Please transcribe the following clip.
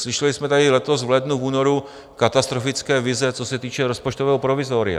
Slyšeli jsme tady letos v lednu, v únoru katastrofické vize, co se týče rozpočtového provizoria.